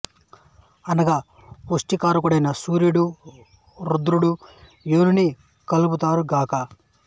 అనగా పుష్టి కారకుడైన సూర్యుడు రుద్రుడు యోనిని కల్పింతురు గాక